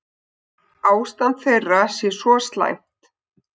Ástand þeirra sé svo slæmt.